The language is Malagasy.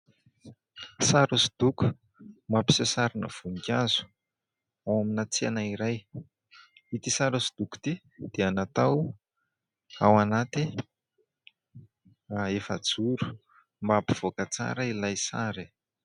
Sary hosodoko mampiseho sarina voninkazo ao amina tsena iray. Ity sary hosodoko ity dia natao ao anaty efajoro mba hampivoaka tsara ilay sary.